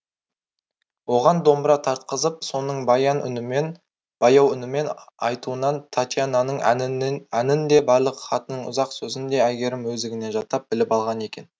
оған домбыра тартқызып соның баяу үнімен айтуынан татьянаның әнін де барлық хатының ұзақ сөзін де әйгерім өздігінен жаттап біліп алған екен